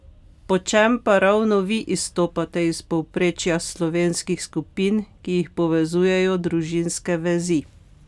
Po čem pa ravno vi izstopate iz povprečja slovenskih skupin, ki jih povezujejo družinske vezi?